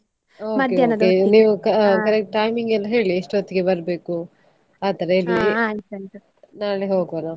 okay okay ನೀವು correct timing ಎಲ್ಲಾ ಹೇಳಿ ಎಷ್ಟು ಹೊತ್ತಿಗೆ ಬರ್ಬೇಕು ಆತರ ನಾಳೆ ಹೋಗ್ವ ನಾವು.